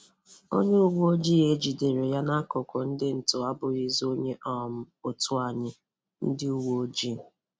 Onye uwe ojii e jìdèrè ya e jìdèrè ya n’akụkụ ndị ntọ abụghịzi onye um otu anyị — Ndị uwe ojii.